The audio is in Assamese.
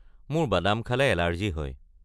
মোৰ বাদাম খালে এলাৰ্জী হয়।